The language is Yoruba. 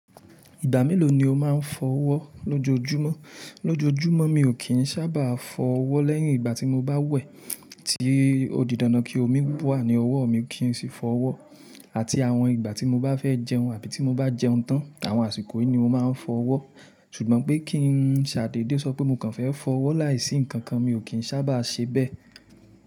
Ìgbà mélòó ni o máa ń fọ ọwọ́ lójoojúmọ́? Lójoojúmọ́ mi ò kì n sábà fọ ọwọ́ lẹ́yìn ìgbà tí mo bá wẹ̀, tí ó di dandan kí omi wà ní ọwọ́ mi kí n sì fọ ọwọ́ àti àwọn ìgbà tí mo bá fẹ́ jẹun àbí tí mo bá jẹun tán, àwọn àsìkò yìí ni mo máa ń fọ ọwọ́. Ṣùgbọ́n pé kí ń ṣàdéde sọ pé mo kàn fẹ́ fọ ọwọ́ láìsí nkan kan, mi ò kì n sábàa ṣe bẹ́ẹ̀.